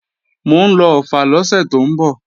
Mò ń lọ Ọ̀ffà lọ́sẹ̀ tó ń bọ̀